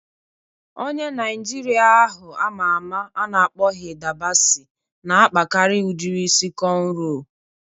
Onye Naịjirịa ahụ ama ama a na-akpọ Hida Basi na-akpakarị udiri isi kọnro